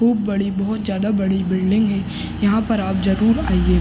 खुब बड़ी बोहोत ज्यादा बड़ी बिल्डिंग है। यहाँ पर आप जरूर आइये।